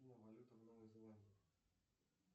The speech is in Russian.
валюта в новой зеландии